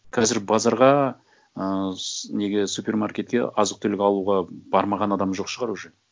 қазір базарға ы неге супермаркетке азық түлік алуға бармаған адам жоқ шығар уже